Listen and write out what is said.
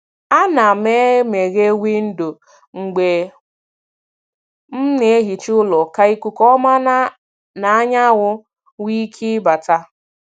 A na m e meghee windo mgbe m na-ehicha ụlọ ka ikuku ọma na anyanwụ nwee ike bata.